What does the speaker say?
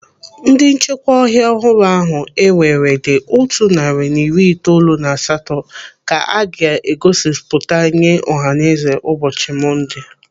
Ndị nchekwa ọhịa ọhụrụ ahụ ewere dị otu narị na iri itoolu na asatọ ka a ga-egosipụta nye ọhaneze ụbọchị Monde.